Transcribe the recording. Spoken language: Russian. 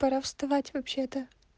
пора вставать вообще-то